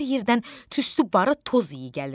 Hər yerdən tüstü, barıt, toz iyi gəlir.